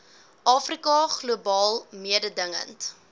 afrika globaal mededingend